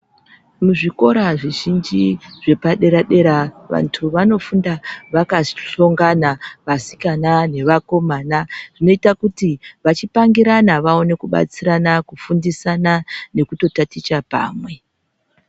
Muzvikora zvizhinji zvepadera dera vantu vanofunda vakahlongana vasikana nevakomana zvinoita kuti vachipangirana vaone kubatsirana kufundisana nekutotaticha pamwe.